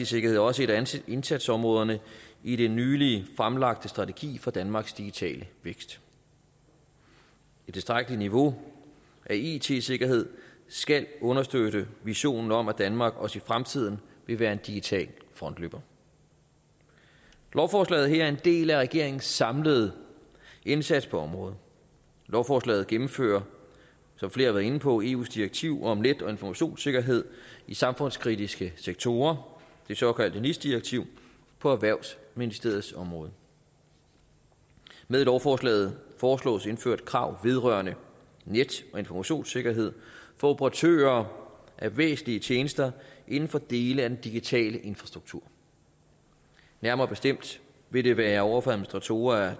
sikkerhed også et af indsatsområderne i den nyligt fremlagte strategi for danmarks digitale vækst et tilstrækkeligt niveau af it sikkerhed skal understøtte visionen om at danmark også i fremtiden vil være en digital frontløber lovforslaget her er en del af regeringens samlede indsats på området lovforslaget gennemfører som flere har været inde på eus direktiv om net og informationssikkerhed i samfundskritiske sektorer det såkaldte nis direktiv på erhvervsministeriets område med lovforslaget foreslås indført krav vedrørende net og informationssikkerhed for operatører af væsentlige tjenester inden for dele af den digitale infrastruktur nærmere bestemt vil det være over for administratorer af